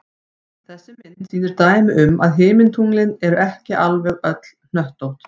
Þessi mynd sýnir dæmi um að himintunglin eru ekki alveg öll hnöttótt.